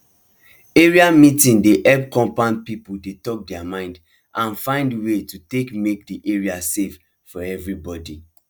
area meeting dey help compound people talk deir mind and find way to take make the area safe for everybody